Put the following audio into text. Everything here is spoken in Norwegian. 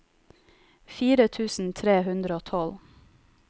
fire tusen tre hundre og tolv